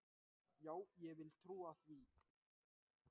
Já, ég vil trúa því.